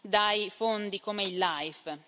dai fondi come il LIFE.